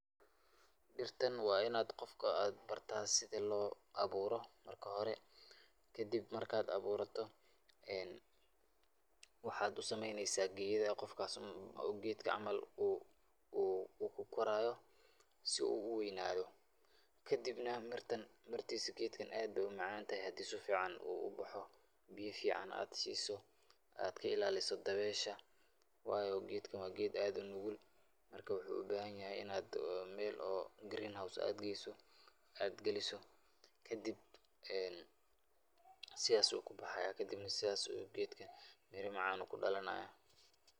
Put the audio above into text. Dhirtan waa inad qofka aad barta sida loo abuuro marka hore. Kadib marka aad abuurato, waxaad u sameyneysaa geedo qofkaas uu gedka camal uu uu ku koraayo si uu u weynado. Kadibna, mirtan, mirtiisa geedkan aad bay u macantahay, haddaad si fiican u baxo biyo fiican aad siiso, aad ka ilaaliso dabeesha, waayo geedkan waa geed aad u nugul. Marka, wuxuu u baahan yahay inaad meel oo green house aad geyso, aad geliso. Kadib sidaas uu ku bahaya, kadibna sodaas uu gedkan miro macaan ku dhalanaya.